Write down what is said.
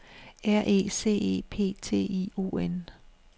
R E C E P T I O N